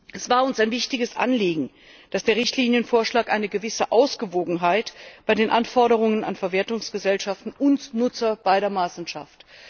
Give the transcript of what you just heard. Es war uns ein wichtiges Anliegen, dass der Richtlinienvorschlag eine gewisse Ausgewogenheit bei den Anforderungen an Verwertungsgesellschaften und Nutzer gleichermaßen schafft.